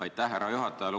Aitäh, härra juhataja!